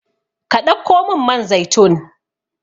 Ka ɗauko min man zaitun